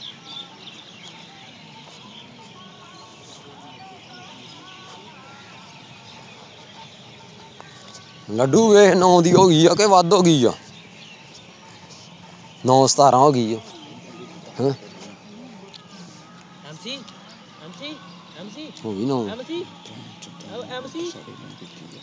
ਲੱਡੂ ਦੇਖ ਨੋ ਦੀ ਹੋਇ ਆ ਕੇ ਵਦ ਹੋਗੀ ਆ ਨੋ ਸਤਾਰਾਂ ਹੋਗੀ ਆ ਹਮ